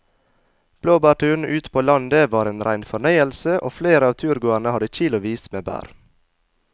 Blåbærturen ute på landet var en rein fornøyelse og flere av turgåerene hadde kilosvis med bær.